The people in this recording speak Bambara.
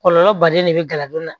Kɔlɔlɔ baden de bɛ gala don la